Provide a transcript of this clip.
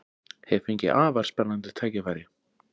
Hef fengið afar spennandi tækifæri